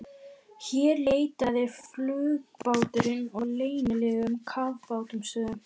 Hér leitaði flugbáturinn að leynilegum kafbátastöðvum, sem Bretar héldu að